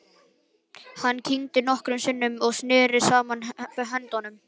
Hann kyngdi nokkrum sinnum og neri saman höndunum.